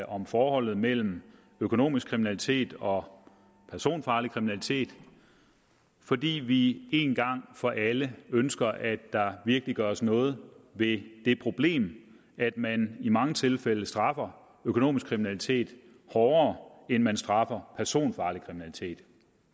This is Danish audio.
om forholdet mellem økonomisk kriminalitet og personfarlig kriminalitet fordi vi en gang for alle ønsker at der virkelig gøres noget ved det problem at man i mange tilfælde straffer økonomisk kriminalitet hårdere end man straffer personfarlig kriminalitet